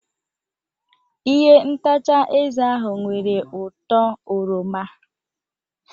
Ihe ntacha eze ahụ nwere ụtọ oroma.